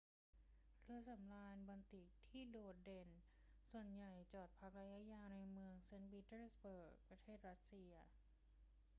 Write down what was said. เรือสำราญบอลติกที่โดดเด่นส่วนใหญ่จอดพักระยะยาวในเมืองเซ็นต์ปีเตอร์สเบิร์ก ประเทศรัสเซีย